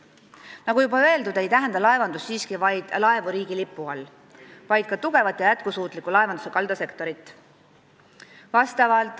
Nagu juba öeldud, ei tähenda laevandus ainult laevu riigilipu all, vaid ka tugevat ja jätkusuutlikku laevanduse kaldasektorit.